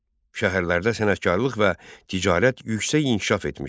Şəhərlərdə sənətkarlıq və ticarət yüksək inkişaf etmişdi.